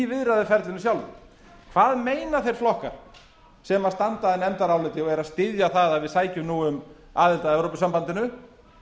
viðræðuferlinu sjálfu hvað meina þeir flokkar sem standa að nefndaráliti og eru að styðja það að við sækjum nú um aðild að evrópusambandinu